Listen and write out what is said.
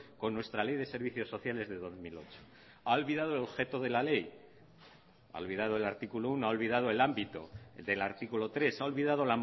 con nuestra ley de servicios sociales de dos mil ocho ha olvidado el objeto de la ley ha olvidado el artículo uno ha olvidado el ámbito del artículo tres ha olvidado